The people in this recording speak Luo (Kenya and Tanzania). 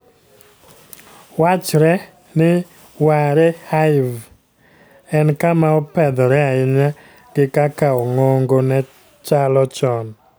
Wachre ni Warre Hive en kama opedhore ahinya gi kaka ongogo ne chalo chon.